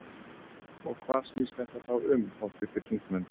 Og hvað snýst þetta þá um háttvirtir þingmenn?